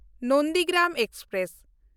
Nandigram express